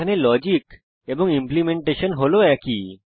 এখানে লজিক এবং ইমপ্লিমেন্টেশন হল একই